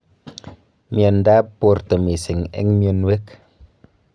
Mieindoab borto mising' en mionowek.